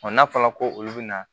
n'a fɔra ko olu bɛ na